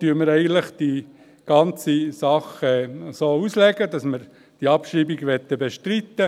Deshalb legen wir eigentlich diese ganze Sache so aus, dass wir die Abschreibung bestreiten möchten.